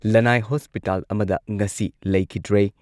ꯂꯟꯅꯥꯏ hospital ꯑꯃꯗ ꯉꯁꯤ ꯂꯩꯈꯤꯈ꯭ꯔꯦ꯫